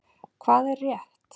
Hvað er rétt?